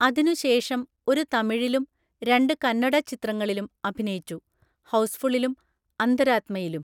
അതിനുശേഷം ഒരു തമിഴിലും രണ്ട് കന്നഡ ചിത്രങ്ങളിലും അഭിനയിച്ചു, ഹൗസ്ഫുളിലും അന്തരാത്മയിലും.